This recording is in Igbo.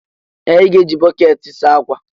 Ee! Ị ga-eji bọkeeti saa ákwà.